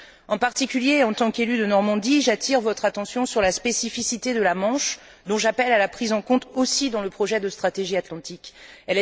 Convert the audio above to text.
En particulier, en tant qu'élue de Normandie, j'attire votre attention sur la spécificité de la Manche dont j'appelle à la prise en compte aussi dans le projet de stratégie intégrée pour la région atlantique.